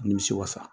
Nimisi wasa